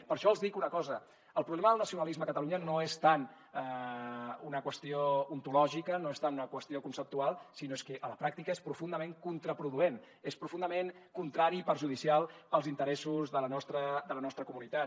per això els dic una cosa el problema del nacionalisme a catalunya no és tant una qüestió ontològica no és tant una qüestió conceptual sinó que a la pràctica és profundament contraproduent és profundament contrari i perjudicial als interessos de la nostra comunitat